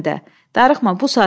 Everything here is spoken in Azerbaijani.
Darıxma, bu saat yatar.